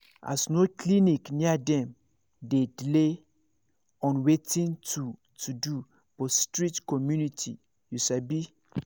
as no clinic near dem dey delay on watin to to do for strict community you sabi